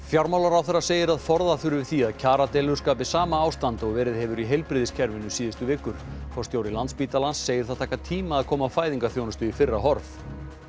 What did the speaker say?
fjármálaráðherra segir að forða þurfi því að kjaradeilur skapi sama ástand og verið hefur í heilbrigðiskerfinu síðustu vikur forstjóri Landspítalans segir það taka tíma að koma fæðingarþjónustu í fyrra horf